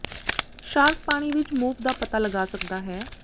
shark ਪਾਣੀ ਵਿੱਚ move ਦਾ ਪਤਾ ਲਗਾ ਸਕਦਾ ਹੈ